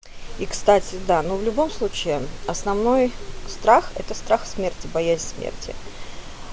и кстати да но в любом случае основной страх это страх смерти боязнь смерти